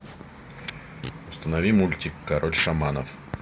установи мультик король шаманов